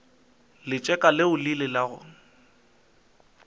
letseka leo le ilego la